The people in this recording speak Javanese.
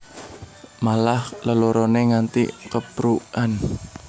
Malah leloroné nganti keprukan